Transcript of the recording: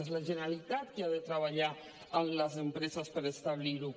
és la generalitat qui ha de treballar amb les empreses per establir ho